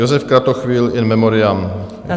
Josef Kratochvil, in memoriam.